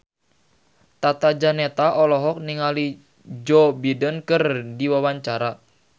Tata Janeta olohok ningali Joe Biden keur diwawancara